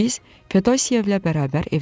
Biz Fedosiyevlə bərabər evdən çıxdıq.